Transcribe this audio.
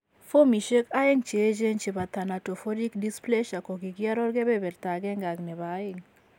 Fomishek aeng cheechen chebo thanatophoric dysplasia kogikiaror kebeberta agenge ak nebo aeng